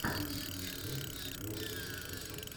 выведи мне варианты где играл роберт редфорд